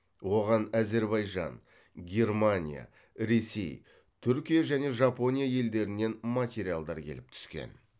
оған әзербайжан германия ресей түркия және жапония елдерінен материалдар келіп түскен